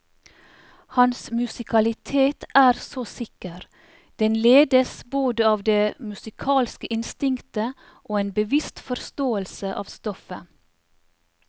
Hans musikalitet er så sikker, den ledes både av det musikalske instinktet og en bevisst forståelse av stoffet.